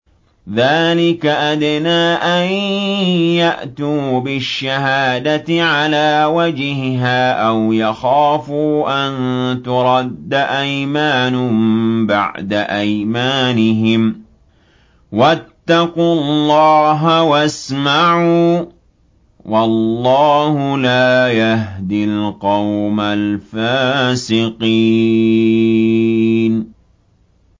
ذَٰلِكَ أَدْنَىٰ أَن يَأْتُوا بِالشَّهَادَةِ عَلَىٰ وَجْهِهَا أَوْ يَخَافُوا أَن تُرَدَّ أَيْمَانٌ بَعْدَ أَيْمَانِهِمْ ۗ وَاتَّقُوا اللَّهَ وَاسْمَعُوا ۗ وَاللَّهُ لَا يَهْدِي الْقَوْمَ الْفَاسِقِينَ